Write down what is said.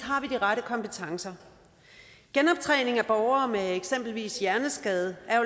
de rette kompetencer genoptræning af borgere med eksempelvis hjerneskade er